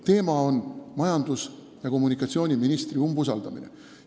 Teema on majandus- ja taristuministri umbusaldamine.